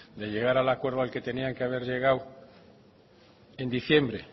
de llegar al acuerdo al que tendrían que haber llegado en diciembre